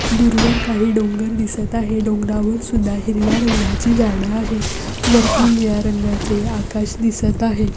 दूरवर काही डोंगर दिसत आहे. डोंगरावर सुद्धा हिरव्या रंगाची झाड आहे. वरती निळ्या रंगाचे आकाश दिसत आहे.